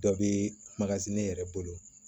Dɔ bɛ ne yɛrɛ bolo